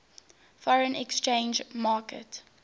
foreign exchange market